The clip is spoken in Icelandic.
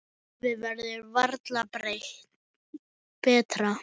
Lífið verður varla betra.